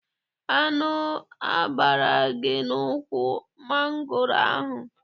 Aṅụ agbara gị n'ukwu mangoro ahụ?